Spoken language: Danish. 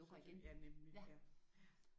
Ja sådan så nemlig ja